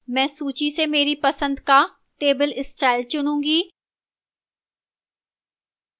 मैं सूची से मेरी पसंद का table style चुनूंगी